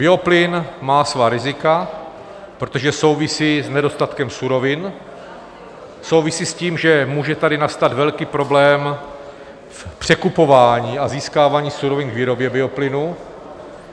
Bioplyn má svá rizika, protože souvisí s nedostatkem surovin, souvisí s tím, že může tady nastat velký problém v překupování a získávání surovin k výrobě bioplynu.